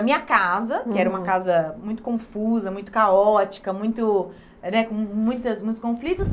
A minha casa, que era uma casa muito confusa, muito caótica, muito né com muitas muitos conflitos,